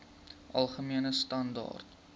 algemene standaar